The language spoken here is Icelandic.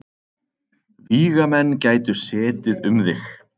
Vígamenn gætu setið um þig.